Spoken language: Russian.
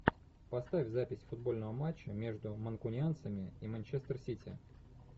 поставь запись футбольного матча между манкунианцами и манчестер сити